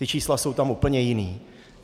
Ta čísla jsou tam úplně jiná.